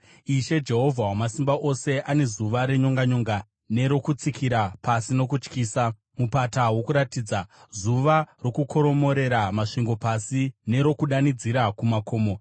Ishe, Jehovha Wamasimba Ose, ane zuva renyonganyonga nerokutsikira pasi nokutyisa muMupata woKuratidza, zuva rokukoromorera masvingo pasi nerokudanidzira kumakomo.